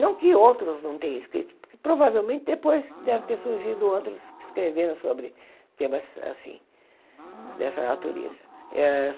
Não que outros não tenham escrito, provavelmente depois deve ter surgido outros que escreveram sobre temas assim, dessa natureza. Ah